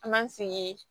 An b'an sigi